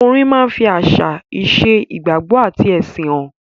Orin máa ń fi àṣà, ìṣe, ìgbàgbọ́ àti ẹ̀sìn han.